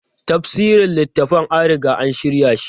Tafsirin littafan an riga an shirya shi.